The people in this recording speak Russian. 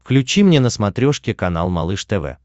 включи мне на смотрешке канал малыш тв